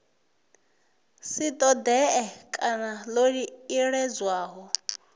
si ṱoḓee kana ḽo iledzwaho